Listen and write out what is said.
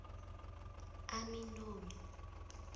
aminomi